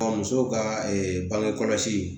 musow ka bange kɔlɔsi